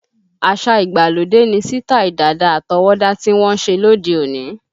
Àṣá ìgbàlódé ni sítáì dàda àtọwọ́dá tí wọ́n ń ṣe lóde òní